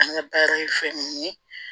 An ka baara ye fɛn mun ye